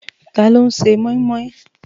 Táló n sè moimoi?